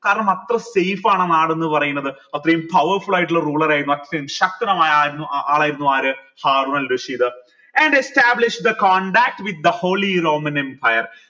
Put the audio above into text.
കാരണം അത്ര safe ആണ് ആ നാട് എന്ന് പറയുന്നത് അത്രെയും powerful ആയിട്ടുള്ള ruler ആയിരുന്നു അത്രെയും ശക്തനായ ആളായിരുന്നു ആര് Harun al Rashid and established a contact with holy roman empire